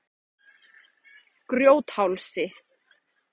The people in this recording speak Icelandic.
Grjóthálsi